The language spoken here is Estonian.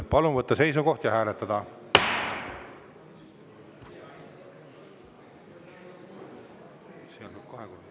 Palun võtta seisukoht ja hääletada!